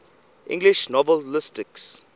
english novelists